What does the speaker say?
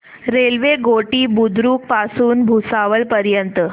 railway Ghoti Budruk पासून भुसावळ पर्यंत